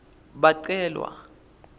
bacelwa